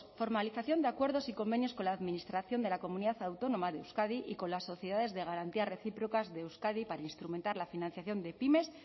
formalización de acuerdos y convenios con la administración de la comunidad autónoma de euskadi y con las sociedades de garantía recíprocas de euskadi para instrumentar la financiación de pymes